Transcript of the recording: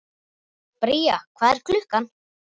Bría, hvað er klukkan?